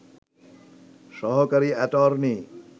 সহকারি অ্যাটর্নি